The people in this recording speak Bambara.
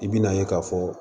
I bi na ye k'a fɔ